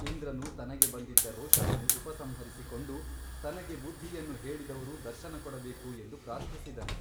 ಇಂದ್ರನು ತನಗೆ ಬಂದಿದ್ದ ರೋಷವನ್ನು ಉಪಸಂಹರಿಸಿಕೊಂಡು ತನಗೆ ಬುದ್ಧಿಯನ್ನು ಹೇಳಿದವರು ದರ್ಶನಕೊಡಬೇಕು ಎಂದು ಪ್ರಾರ್ಥಿಸಿದನು.